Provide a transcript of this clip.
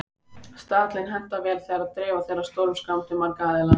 Staðallinn hentar vel þegar dreifa þarf stórum skrám til margra aðila.